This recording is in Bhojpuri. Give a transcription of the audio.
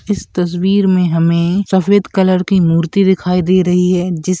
इस तस्वीर में हमें सफेद कलर की मूर्ति दिखाई दे रही है जिस --